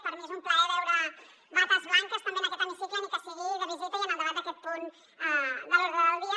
per mi és un plaer veure bates blanques també en aquest hemicicle ni que sigui de visita i en el debat d’aquest punt de l’ordre del dia